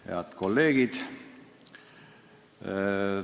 Head kolleegid!